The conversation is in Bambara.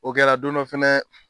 O kɛra don dɔ fɛnɛ